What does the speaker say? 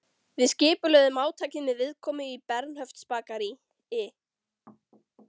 Við skipulögðum átakið með viðkomu í Bernhöftsbakaríi.